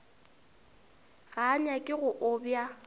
ga a nyake go obja